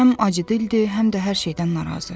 Həm acıdildir, həm də hər şeydən narazı.